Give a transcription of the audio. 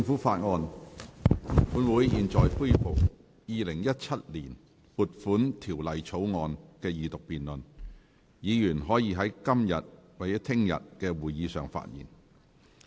本會現在恢復《2017年撥款條例草案》的二讀辯論，議員可在今天或明天的會議發言。